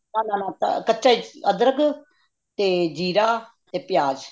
ਨਾ ਨਾ ਨਾ ਕਚਾ ਹੀ ਅਦ੍ਰਖ ਤੇ ਜੀਰਾ ਤੇ ਪਿਆਜ਼